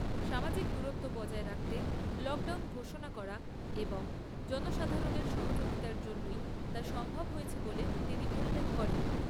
সামাজিক দূরত্ব বজায় রাখতে লকডাউন ঘোষণা করা এবং জনসাধারণের সহযোগিতার জন্যই তা সম্ভব হয়েছে বলে তিনি উল্লেখ করেন।